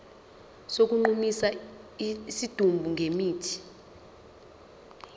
sokugqumisa isidumbu ngemithi